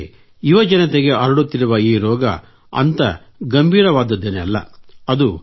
ಆದರೆ ಯುವ ಜನತೆಗೆ ಹರಡುತ್ತಿರುವ ಈ ರೋಗ ಅಂಥ ಗಂಭೀರವಾದದ್ದೇನಲ್ಲ